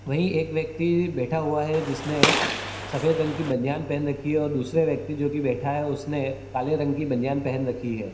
वहीं एक व्यक्ति बैठा हुआ है जिसने सफेद रंग की बनियान पहन रखी है और दूसरा व्यक्ति जो बैठा है उसने काले रंग की बनियान पहन रखी है।